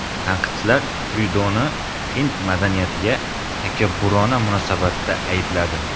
Tanqidchilar Tryudoni hind madaniyatiga takabburona munosabatda aybladi.